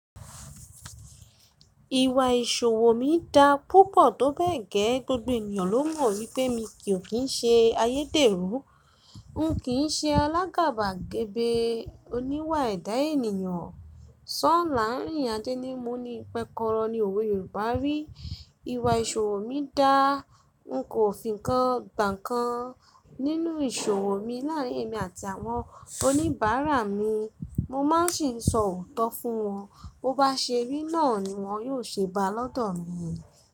Ìwà ìṣòwò mi dá púpọ̀ tó bẹ́ẹ̀ gẹ́, gbogbo ènìyàn ló mọ̀ wípé mi kì í ṣe ayédèrú, n kì í ṣe alágàbàgebè oníwà ẹ̀dá ènìyàn. Ṣọ́ là làrín áje ní mu ni pẹ́kọrọ ní òwe Yorùbá rí. Ìwà ìṣòwò mi dá, n kò fi ń kan ǹkan nínú ìṣòwò mi láàrín èmi àti àwọn oníbàárà mi. Mo má n sì n sọ òótọ́ fún wọn, bó bá ṣe rí náà ni wọ́n yóò ṣe bá lọ́dọ̀ mi.